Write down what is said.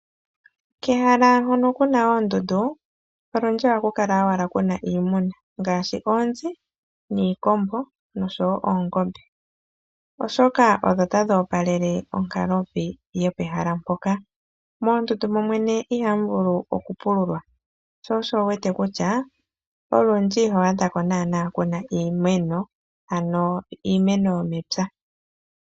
Kehala hoka kuna owala oondundu ohakukala owala iinamwenyo ngaashi oonzi niikombo nosho woo oongombe, oshoka odho tadhoopalele onkalovi yopehala mpoka. Moondundu momwene ihamu vulu okupululwa shosho wuwete kutya olundji ihwaadhako iimeno yomepya.